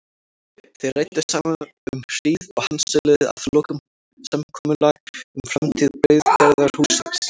Þeir ræddu saman um hríð og handsöluðu að lokum samkomulag um framtíð brauðgerðarhússins.